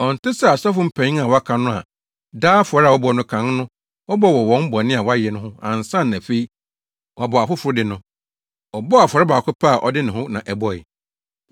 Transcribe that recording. Ɔnte sɛ asɔfo mpanyin a wɔaka no a, daa afɔre a wɔbɔ no kan no wɔbɔ wɔ wɔn bɔne a wayɛ ho ansa na afei, wabɔ afoforo de no. Ɔbɔɔ afɔre baako pɛ a ɔde ne ho na ɛbɔe.